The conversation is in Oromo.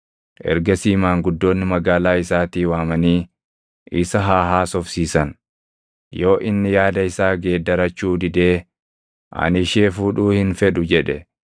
Ergasii maanguddoonni magaalaa isaatii waamanii isa haa haasofsiisan. Yoo inni yaada isaa geeddarachuu didee, “Ani ishee fuudhuu hin fedhu” jedhe,